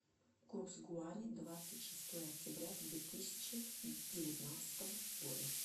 курс гуарани двадцать шестое октября две тысячи девятнадцатого года